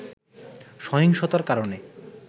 সহিংসতার কারণে